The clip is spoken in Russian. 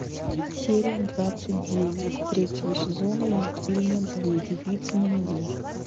серия двадцать девять третьего сезона мультфильма две девицы на мели